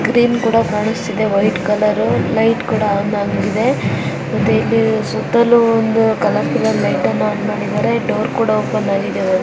screen ಕೂಡಾ ಕಾಣಿಸ್ತಿದೆ white colour light ಕೂಡಾ ಆನ್ ಆಗಿದೆ ಮತ್ತೆ ಇಲ್ಲಿ ಸುತ್ತಲೂ ಒಂದು ಕಾಲೌರ್ಫುಲ್ ಲೈಟನ್ನು ಆನ್ ಮಾಡಿದ್ದಾರೆ ಡೋರ್ ಕೂಡ ಓಪನ್ ಆಗಿದೆ ಒಂದು --